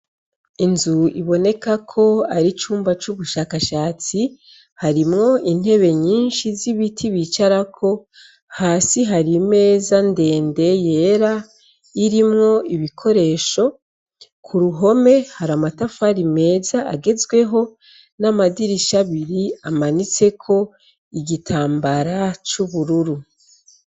Inzu iboneka ko ari icumba cubushakashatsi harimwo intebe nyinshi zibiti bicarako hasi hari imeza ndende yera irimwo ibikoresho kuruhome hari amatafari meza agezweho namadirisha abiri amanitseko igitambara cubururu